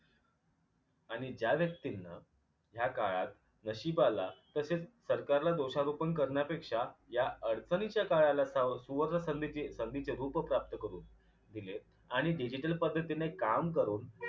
आणि ज्या व्यक्तींन ह्या काळात नशिबाला तसेच सरकारला दोषारोपण करण्यापेक्षा या अडचणीच्या काळाला स सुवर्णसंधीच संधीचे रूप प्राप्त करून दिले आणि digital पद्धतीने काम करून